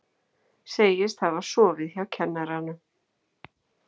Segist hafa sofið hjá kennaranum